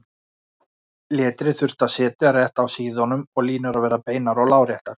Letrið þurfti að sitja rétt á síðunum og línur að vera beinar og láréttar.